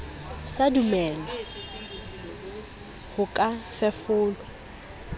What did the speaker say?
sa dumele ho ka fefolwa